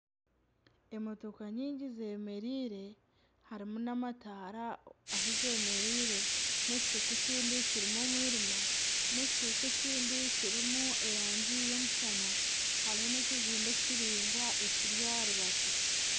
Emotoka nyingi zeemereire harimu n'amataara ahi zeemereire n'ekicweka ekindi kirimu omwirima, n'ekicweka ekindi kirimu erangi y'omushana hariho n'ekizimbe kiraingwa ekiri aha rubaju